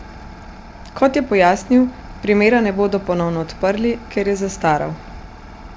Kot je pojasnil, primera ne bodo ponovno odprli, ker je zastaral.